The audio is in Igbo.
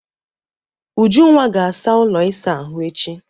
Ujunwa ga-asa ụlọ ịsa ahụ echi.